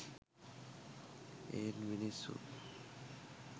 ඒත් මිනිස්සු